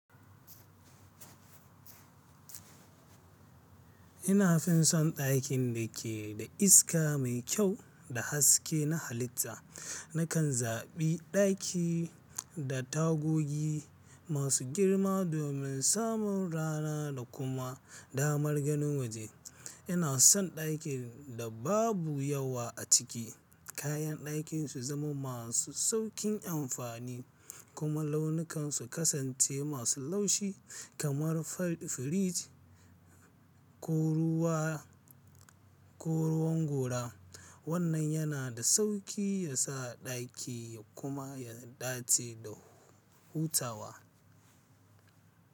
Ina fin son dakin da ke da iska mai kyau da haske na halitta. Nakan zaɓi ɗaki da tagogi masu girma domin samun rana da kuma damar ganin waje. Ina son ɗakin da babu yawa a ciki, kayan ɗakin su zama masu sauƙin amfani kuma launukansu kasance masu laushi kamar fari, firij ko ruwan gora. Wannan yana da sauƙi yasa ɗaki kuma ya dace da hutawa.